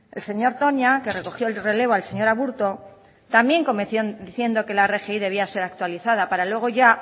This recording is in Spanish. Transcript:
el señor toña que recogió el relevo al señor aburto también comenzó diciendo que la rgi debía ser actualizada para luego ya